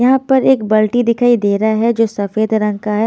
यहाँ पर एक बाल्टी दिखाई दे रहा है जो सफेद रंग का है।